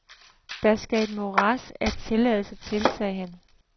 Der skal et morads af tilladelser til, siger han.